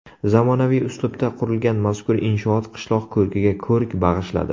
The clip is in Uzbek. Zamonaviy uslubda qurilgan mazkur inshoot qishloq ko‘rkiga ko‘rk bag‘ishladi.